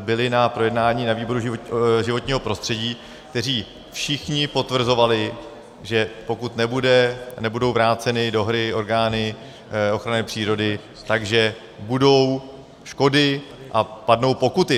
byli na projednávání na výboru životního prostředí, kteří všichni potvrzovali, že pokud nebudou vráceny do hry orgány ochrany přírody, tak budou škody a padnou pokuty.